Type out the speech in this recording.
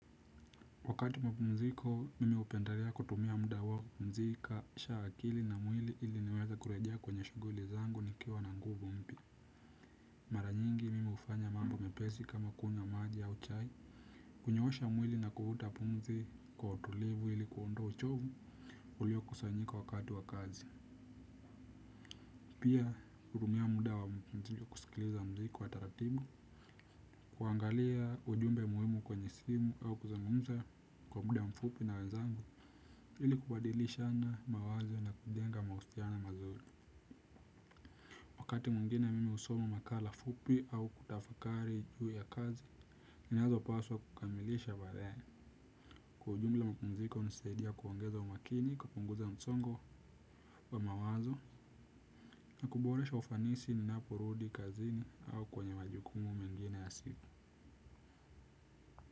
Wakati wa mapumziko, mimi upendelea kutumia muda uo pumzika, sha akili na mwili ili niweza kurejea kwenye shughuli zangu nikiwa na nguvu mpya. Mara nyingi mimi hufanya mambo mepesi kama kunywa maji au chai. Kunyoosha mwili na kuvuta pumzi kwa utulivu ili kuondoa uchovu uliokusanyika wakati wa kazi. Pia, hutumia muda wa mzuri kusikiliza muziki wa taratibu. Kuangalia ujumbe muhimu kwenye simu au kuzungumza kwa muda mfupi na wenzangu. Ili kubadilishana mawazo na kujenga mahusiano mazuri. Wakati mwingine mimi husoma makala fupi au kutafakari juu ya kazi ninazo paswa kukamilisha baadaye. Kwa ujumla mapumziko hunisaidia kuongeza umakini, kupunguza msongo wa mawazo na kuboresha ufanisi ninaporudi kazini au kwenye majukumu mengine ya siku.